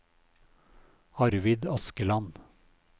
Arvid Askeland